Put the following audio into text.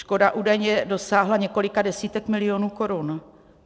Škoda údajně dosáhla několika desítek milionů korun.